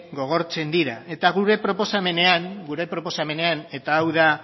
gogortzen dira eta gure proposamenean eta hau da